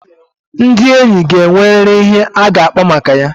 Ndị enyi ga enweriri ihe ha ga-akpa maka ya